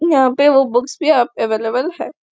यहाँ पे वो बुक्स भी अवेलेबल है।